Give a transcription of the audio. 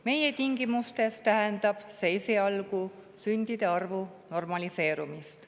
Meie tingimustes tähendab see esialgu sündide arvu normaliseerumist.